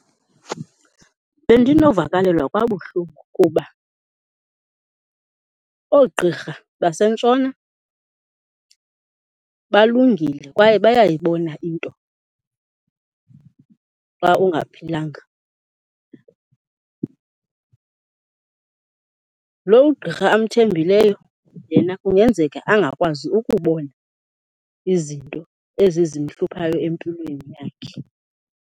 Bendinovakalelwa kabuhlungu kuba oogqirha basentshona balungile kwaye bayayibona into xa ungaphilanga. Lo ugqirha amthembileyo yena kungenzeka angakwazi ukubona izinto ezi zimhluphayo empilweni yakhe.